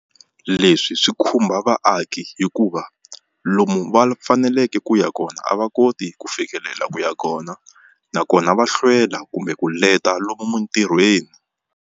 Leswi swi khumba vaaki hikuva lomu va faneleke ku ya kona a va koti ku fikelela ku ya kona, nakona va hlwela kumbe ku leta lomu mintirhweni.